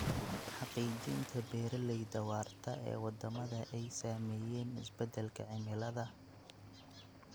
Xaqiijinta beeralayda waarta ee wadamada ay saameeyeen isbedelka cimilada.